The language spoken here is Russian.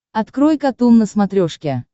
открой катун на смотрешке